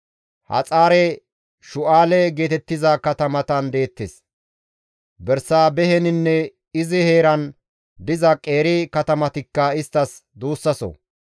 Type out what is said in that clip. Haxaare-Shu7aale geetettiza katamatan deettes; Bersaabeheninne izi heeran diza qeeri katamatikka isttas duussaso;